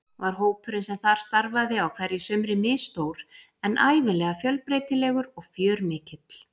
Var hópurinn sem þar starfaði á hverju sumri misstór en ævinlega fjölbreytilegur og fjörmikill.